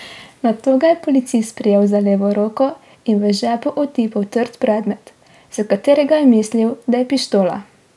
Nato ga je policist prijel za levo roko in v žepu otipal trd predmet, za katerega je mislil, da je pištola.